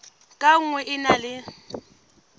ka nngwe e na le